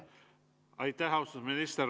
Aitäh, austatud minister!